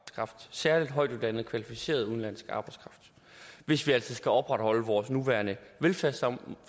særligt højtuddannet kvalificeret udenlandsk arbejdskraft hvis vi altså skal opretholde vores nuværende velfærdssamfund